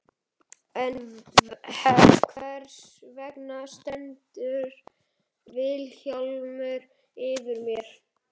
En hvers vegna stendur Vilhjálmur yfir mér?